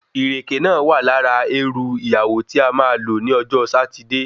Ìrèké náà wà lára erù ìyàwó tí a ma lò ní ọjọ́ Sátidé